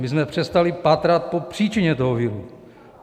My jsme přestali pátrat po příčině toho viru.